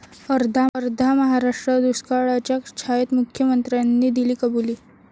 अर्धा महाराष्ट्र दुष्काळाच्या छायेत, मुख्यमंत्र्यांनी दिली कबुली